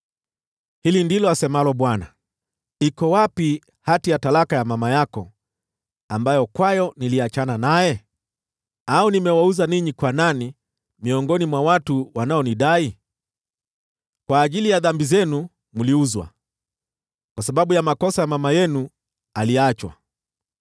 Hili ndilo asemalo Bwana : “Iko wapi hati ya talaka ya mama yako ambayo kwayo niliachana naye? Au nimewauza ninyi kwa nani miongoni mwa watu wanaonidai? Kwa ajili ya dhambi zenu mliuzwa, kwa sababu ya makosa, mama yenu aliachwa.